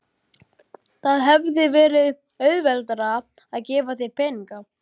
Það hefði verið auðveldara að gefa þér peninga.